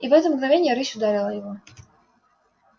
и в это мгновение рысь ударила его